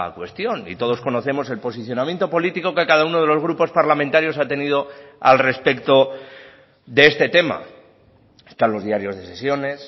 cuestión y todos conocemos el posicionamiento político que cada uno de los grupos parlamentarios ha tenido al respecto de este tema están los diarios de sesiones